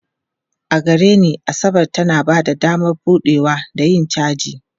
A gare ni, Asabar tana ba da damar buɗewa da yin caji.